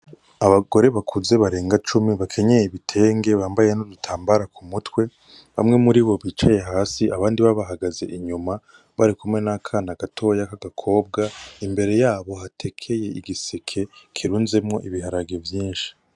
Abagore bakuze barenga cumi bakenyeye ibitenge bambaye n'urutambara ku mutwe, bamwe muri bo bicaye hasi, abandi bo bahagaze inyuma, bari kumwe n'akana gato k'agakobwa, imbere yabo hatekeye igiseke kirunzemwo ibiharage vyinshi.